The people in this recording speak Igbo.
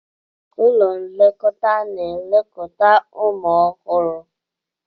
Ụlọ nlekọta na-elekọta ụmụ ọhụrụ.